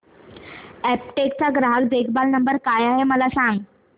Aptech चा ग्राहक देखभाल नंबर काय आहे मला सांग